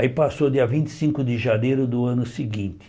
Aí passou dia vinte e cinco de janeiro do ano seguinte.